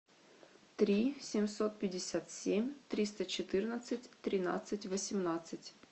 три семьсот пятьдесят семь триста четырнадцать тринадцать восемнадцать